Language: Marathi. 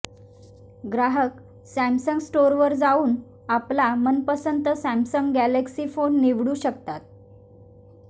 ग्राहक सॅमसंग स्टोरवर जावून आपला मनपसंत सॅमसंग गॅलेक्सी फोन निवडू शकतात